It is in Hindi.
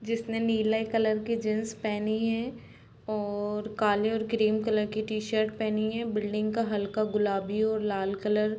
जिसने नील कलर की जीन्स पहनी है और काले और क्रीम कलर की टी-शर्ट पहनी है | बिल्डिंग का हल्का गुलाबी और लाल कलर --